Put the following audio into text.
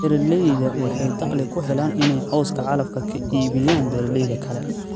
Beeralaydu waxay dakhli ku helaan inay cawska calafka ka iibiyaan beeralayda kale.